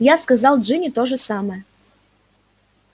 я сказал джинни то же самое